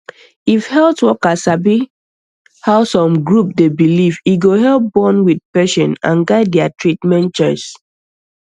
if health worker sabi how some group dey believe e go help bond with patient and guide their treatment choice